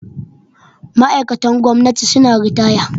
Ma'aikatan gwamnati suna ritaya